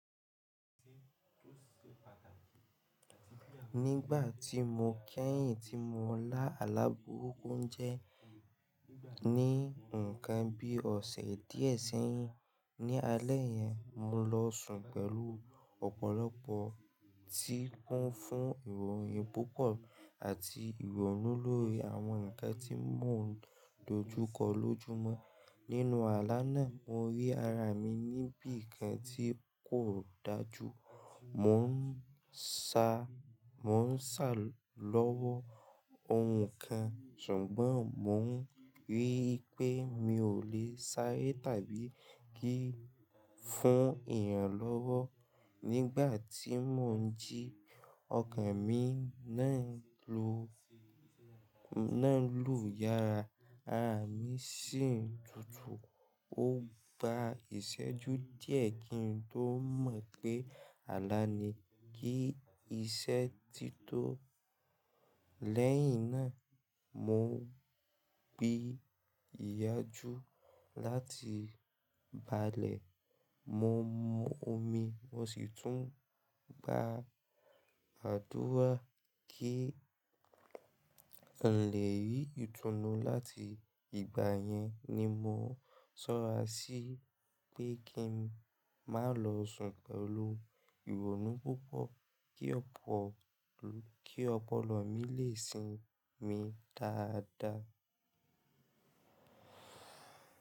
Nígbà tí mò ń kẹ̀yìn tí mò ń lá alá bùrúkú jẹ́ ní nǹkan bíi ọ̀sẹ̀ díẹ̀ sẹ́yìn, ní alẹ́ yẹn mò lọ sùn pẹ̀lú ọ̀pọ̀lọpọ̀ tí kún fún ìròyìn púpọ̀ àti ìrònú lórí àwọn nǹkan tí mò ń dojúkọ lójúmọ́. Nínú àlá náà mo rí ara mi níbí nǹkan tí kò dájú. Mò ń sa, mò ń sa lọ́wọ́ ohun kan ṣùgbọ́n mò ń rí i pé mi ò lè sáré tàbí kí fún èèyàn lọ́wọ́. Nígbà tí mò ń jí ọkàn mi náà lo, náà lù yara, ara mi sì tutù. Ó gba ìṣẹ́jú díẹ̀ kí n tó mọ̀ pé àlá ni kí iṣẹ́ ti tó. Lẹ́yìn náà mò gbé ìyàjú láti balẹ̀, mo mu omi mo sì tún gba àdúrà kí n lè rí ìtùnú láti ìgbà yẹn ni mò sọra sí pé kí n má lọ sùn pẹ̀lú ìrònú púpọ̀ kí ọ̀pọ̀lọ́ mi lè sinmi dáadáa.